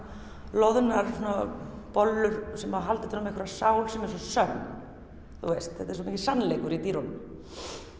loðnar bollur sem halda utan um einhverja sál sem er svo sönn þetta er svo mikill sannleikur í dýrunum